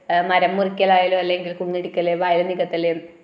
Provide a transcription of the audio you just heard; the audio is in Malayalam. ആ മരം മുറിക്കല് ആയാലും അല്ലങ്കിൽ കുന്നിടിക്കല് വയൽ നികത്തല്